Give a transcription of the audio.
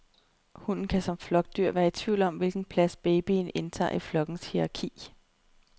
Hunden kan som flokdyr være i tvivl om, hvilken plads babyen indtager i flokkens hierarki.